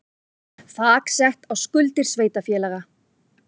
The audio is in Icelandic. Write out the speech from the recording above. Þak sett á skuldir sveitarfélaga